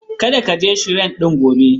Kada ka je Shrine ɗin gobe.